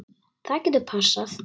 Það getur passað.